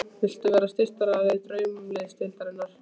Viltu vera styrktaraðili Draumaliðsdeildarinnar?